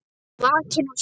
Vakinn og sofinn.